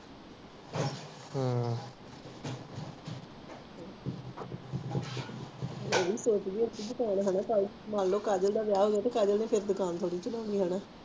ਮੈਂ ਵੀ ਸੋਚਦੀ ਹੁੰਦੀ ਸੀ ਮਾਨਲੋ ਕਾਜਲ ਦਾ ਵਿਆਹ ਹੋ ਜਾਣਾ ਕਾਜਲ ਨ ਫੇਰ ਦੁਕਾਨ ਥੋੜੀ ਚਲਾਉਣਾ